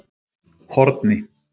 Horni